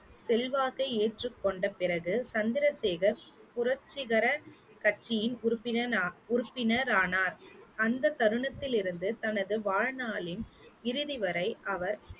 செல்வாக்கை ஏற்றுக் கொண்ட பிறகு சந்திரசேகர் புரட்சிகர கட்சியின் உறுப்பினர் ந~ உறுப்பினர் ஆனார், அந்தத் தருணத்தில் இருந்து தனது வாழ்நாளின் இறுதி வரை அவர்